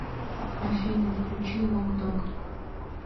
афина включи лок дог